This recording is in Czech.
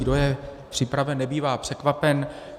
Kdo je připraven, nebývá překvapen.